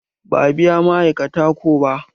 Ba a biya ma'aikata ko ba.